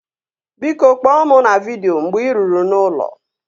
Biko, kpọọ mụ na vidịo mgbe ị ruru n'ụlọ